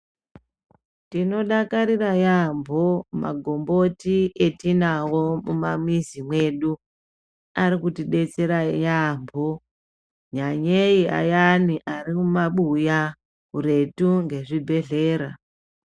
Tinodakarira yaambo magomboti etinawo mumamizi mwedu arikutidetsera yaambo nyanyei ayani ari kumabuya kuretu ngezvibhedhlera .